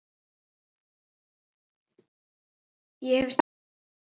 Ég hef staðið við það.